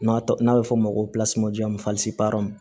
N'a tɔ n'a bɛ f'o ma ko